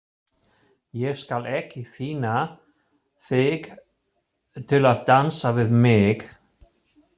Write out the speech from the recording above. Ég skal ekki pína þig til að dansa við mig.